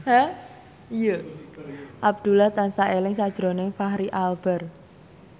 Abdullah tansah eling sakjroning Fachri Albar